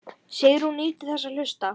Sigrún nýtur þess að hlusta.